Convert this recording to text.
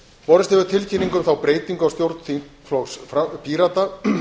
borist hefur tilkynning um þá breytingu á stjórn þingflokks pírata